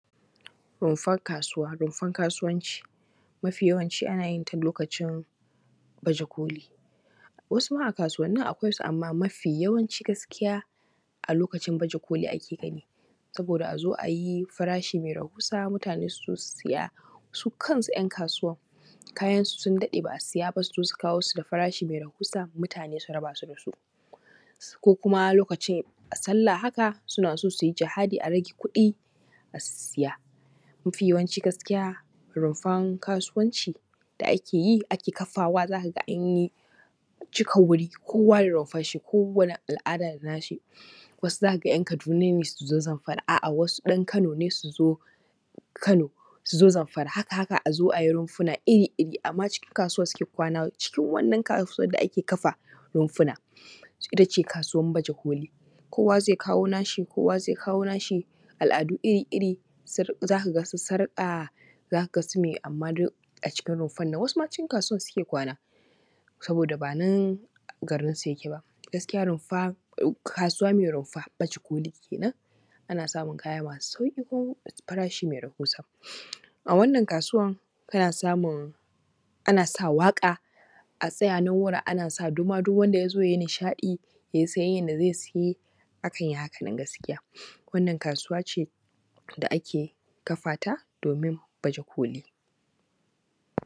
Rumfan kasuwa. Rumfan kasuwaci mafi yawanci ana yin ta lokacin baje koli, wasu ma a kasuwanin su amma mafiyawanci gaskiya a lokacin baje koli ake gani saboda a zo a yi farashin mai rahusa, mutane su zo su siya su kansu ‘yan kasuwa kayan su sun daɗe ba a siya ba su zo su kawo su farashi mai rahusa mutane su raba su da su ko kuma lokacin a sallah haka a haka suna so su yi jihadi a rage kuɗi a sisiya. Mafiyawanci gaskiya rumfan kasuwanci da ake yi ake kafawa za ka ga an yi cika wuri kowa da rumfarshi kowani al’ada da nashi wasu za ka ga ‘yan Kaduna ne su zo Zamfara, a’a wasu ɗan Kano ne su zo Kano su zo Zamfara haka a zo a yi rumfuna iri-iri amma cikin kasuwa suke kwana cikin wannan kasuwan da ake kafa rumfuna ita ce kasuwar baje koli kowa zai kawo nashi kaya zai kawo nashi al’adu iri-iri za ka ga wasu su riƙa za ka ga sume amma duk a cikin rumfan nan wasu ma cikin kasuwan suke kwana saboda ba nan garin su yake ba. Gaskiya rumfa kasuwa mai rumfa baje koli kenan ana samun sauƙi ko farashi mai rahusa a wannan kasuwan kana samun ana sa waƙa a tsaya nan wurin ana sa duma duk wanda ya zo ya yi nishaɗi ya yi siyaya da zai yi akan yi haka, gaskiya wannan kasuwa ce da ake fata domin baje koli.